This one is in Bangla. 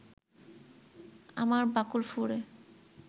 আমার বাকল ফুঁড়ে